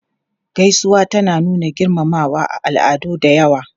Gaisuwa tana nuna girmamawa a al'adu da yawa.